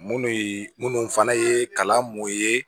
Munnu ye minnu fana ye kalan mun ye